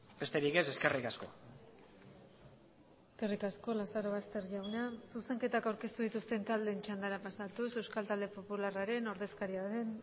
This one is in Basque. besterik ez eskerrik asko eskerrik asko lazarobaster jauna zuzenketak aurkeztu dituzten taldeen txandara pasatuz euskal talde popularraren ordezkaria den